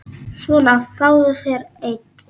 Svona, fáðu þér einn.